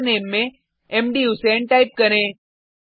username में मधुसें type करें